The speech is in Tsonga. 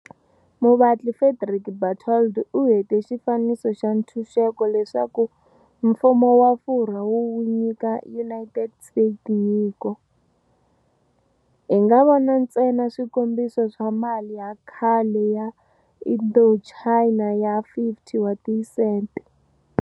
Muvatli Frédéric Bartholdi u hete Xifaniso xa Ntshunxeko leswaku Mfumo wa Furwa wu wu nyika United States nyiko. Hi nga vona ntsena swikombiso swa mali ya khale ya Indochina ya 50 wa tisente.